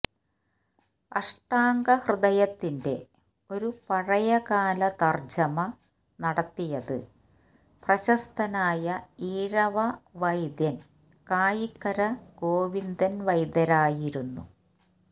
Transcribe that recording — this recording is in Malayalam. അഷ്ടാംഗഹൃദയത്തിന്റെ ഒരു പഴയകാല തർജ്ജമ നടത്തിയത് പ്രശസ്തനായ ഈഴവ വൈദ്യൻ കായിക്കര ഗോവിന്ദൻ വൈദ്യരായിരുന്നു